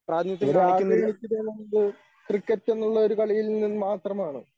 ഇവിടെ ആദ്യം കളിച്ച ടൂർണമെൻറ് ക്രിക്കറ്റെന്നുള്ളൊരു കളിയിൽ നിന്നും മാത്രമാണ്.